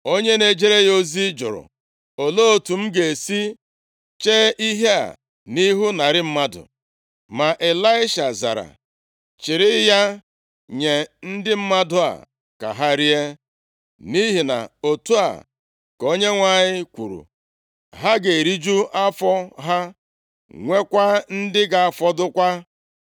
Onye na-ejere ya ozi jụrụ, “Olee otu m ga-esi chee ihe a nʼihu narị mmadụ?” Ma Ịlaisha zara, “Chịrị ya nye ndị mmadụ a ka ha rie, nʼihi na otu a ka Onyenwe anyị kwuru, ‘Ha ga-eriju afọ ha, nwekwa ndị ga-afọdụkwa.’ ”